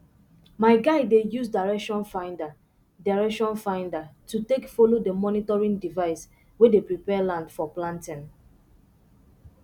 my guy dey use direction finder direction finder um take follow the monitoring device way dey prepare land for planting